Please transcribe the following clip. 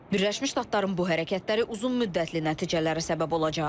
Birləşmiş Ştatların bu hərəkətləri uzunmüddətli nəticələrə səbəb olacaq.